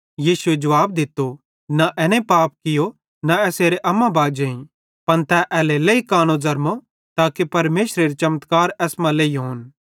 यीशुए जुवाब दित्तो न एने पाप कियो न एसेरे अम्माबाजेईं पन तै एल्हेरेलेइ कानो ज़रमो ताके परमेशरेरे चमत्कार एसमां लेईहोन